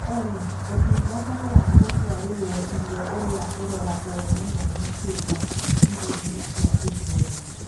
Olly ũtũngata wa gũtwaraĩrioũriaũroragwo mũno makĩrĩaĩrĩo-ĩnĩ cĩa gĩthũeri